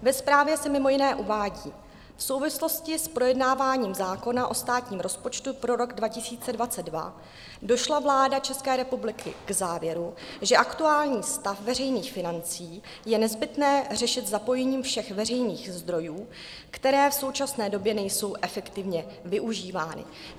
Ve zprávě se mimo jiné uvádí: V souvislosti s projednáváním zákona o státním rozpočtu pro rok 2022 došla vláda České republiky k závěru, že aktuální stav veřejných financí je nezbytné řešit zapojením všech veřejných zdrojů, které v současné době nejsou efektivně využívány.